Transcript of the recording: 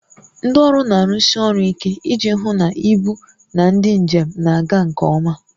Ndị ọrụ na-arụsi ọrụ ike iji hụ na ibu na ndị njem na-aga nke ọma